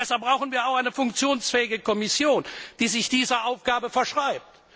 Deshalb brauchen wir auch eine funktionsfähige Kommission, die sich dieser Aufgabe verschreibt.